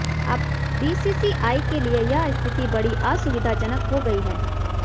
अब बीसीसीआई के लिए यह स्थिति बड़ी असुविधाजनक हो गई है